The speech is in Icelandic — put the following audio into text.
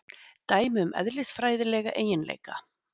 Dæmi um eðlisfræðilega eiginleika.